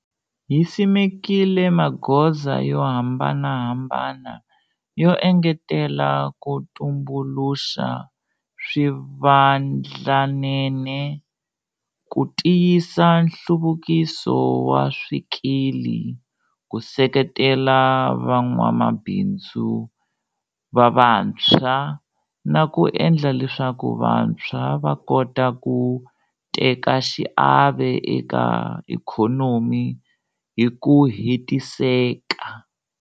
Hi simekile magoza yo hambanahambana yo engetela ku tumbuluxa swivandlanene, ku tiyisa nhluvukiso wa swikili, ku seketela van'wamabindzu va vantshwa na ku endla leswaku vantshwa va kota ku teka xiave eka ikhonomi hi ku hetiseka.